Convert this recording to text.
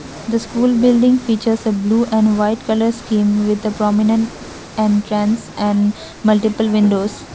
the school building features a blue and white colour scheme with the prominent entrance and multiple windows.